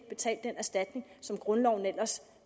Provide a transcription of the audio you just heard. betalt den erstatning som grundloven ellers